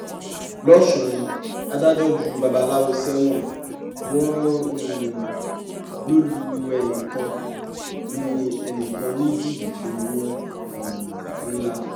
lọ́sùn adájọ́ ju babaláwo sẹ́wọ̀n wọn um lọ lu ẹnìkan ní ẹnìkan ní jìbìtì owó um ńlá